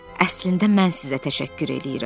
Əslində mən sizə təşəkkür eləyirəm.